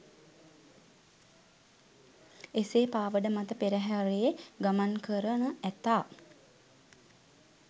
එසේ පාවඩ මත පෙරහරේ ගමන් කරන ඇතා